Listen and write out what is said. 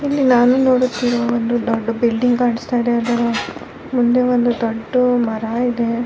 ಇಲ್ಲಿ ನಾನು ನೋಡುತ್ತಿರುವ ಒಂದು ದೊಡ್ದು ಬಿಲ್ಡಿಂಗ್ ಕಾಣಿಸ್ತಾ ಇದೆ ಅದರ ಮುಂದೆ ಒಂದು ದೊಡ್ದು ಮರ ಇದೆ .